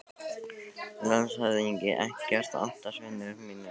LANDSHÖFÐINGI: Ekkert að óttast, vinir mínir.